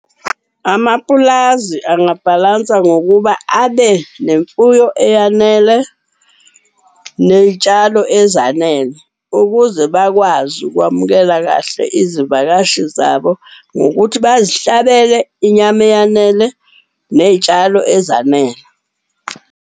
Amapulazi angabhalansa ngokuba abe nemfuyo eyanele ney'tshalo ezanele. Ukuze bakwazi ukwamukela kahle izivakashi zabo ngokuthi bazihlabele inyama eyanele, ney'tshalo ezanele.